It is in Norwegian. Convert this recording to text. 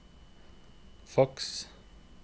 faks